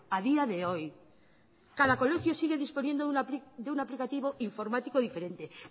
a día de hoy cada colegio sigue disponiendo de un aplicativo informático diferente